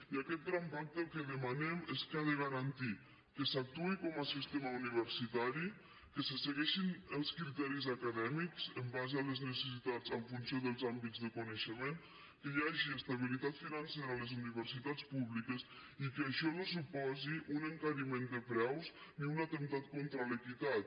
i en aquest gran pacte el que demanem és que ha de garantir que s’actuï com a sistema universitari que se segueixin els criteris acadèmics en base a les necessitats en funció dels àmbits de coneixement que hi hagi estabilitat financera a les universitats públiques i que això no suposi un encariment de preus ni un atemptat contra l’equitat